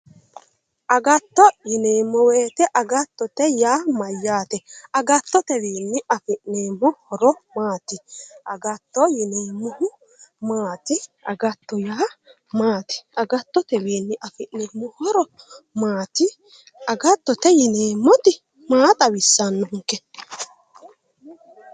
Agatto yineemmo woyte, agattote yaa mayate ,agattotewi afi'neemmo horo maati, agatto yineemmohu maati, agattotewi afi'neemmo horo maati, agattote yineemmoti maa xawisanonke